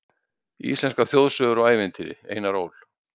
Íslenskar þjóðsögur og ævintýri, Einar Ól.